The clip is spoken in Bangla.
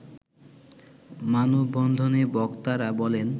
মানববন্ধনে বক্তারা বলেন